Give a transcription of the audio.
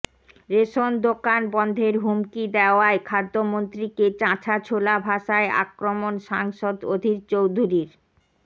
ration দোকান বন্ধের হুমকি দেওয়ায় খাদ্যমন্ত্রীকে চাঁচাছোলা ভাষায় আক্রমণ সাংসদ অধীর চৌধুরীর